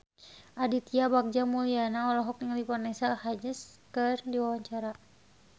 Aditya Bagja Mulyana olohok ningali Vanessa Hudgens keur diwawancara